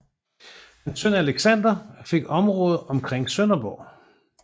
Hans søn Alexander fik området omkring Sønderborg